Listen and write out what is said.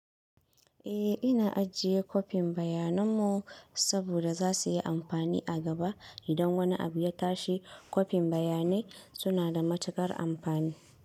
Eh, ina ajiye kopin bayananmu saboda za su yi amfani a giba idan wani abu ya tashi. Kofin bayanai suna da matuƙar amfani.